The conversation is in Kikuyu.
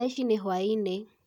Thaici ni hwaĩnĩ